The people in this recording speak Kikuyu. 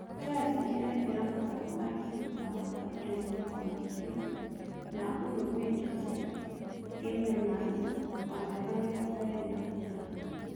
Chelsea nĩĩraitĩra mata mũthakĩri thutha wa Atlentico Madrid ns Uruguay Jose Gimenez wa mĩaka mĩrongo ĩĩrĩ na ĩtano